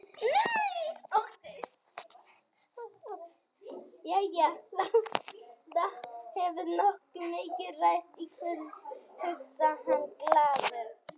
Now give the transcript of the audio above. Jæja, það hefur nógu mikið ræst í kvöld, hugsar hann glaður.